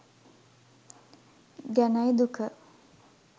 ගැනයි දුක.